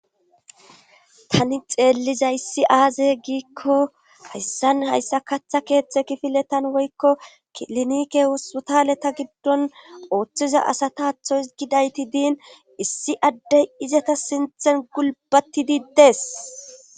tani xeelliza issi aaze giikko hayssan hayssa kaththa keeththe kifiletan woykko kilinike wossu taleta giddon ooththiza asata athoy gidayti diin issi addey izata sinthen gulbati diddes